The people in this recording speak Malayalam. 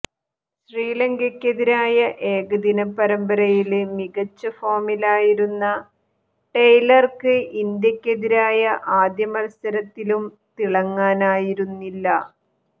ശ്രീലങ്കക്കെതിരായ ഏകദിന പരമ്പരയില് മികച്ച ഫോമിലായിരുന്ന ടെയ്ലര്ക്ക് ഇന്ത്യക്കെതിരായ അദ്യ മത്സരത്തിലും തിളങ്ങാനായിരുന്നില്ല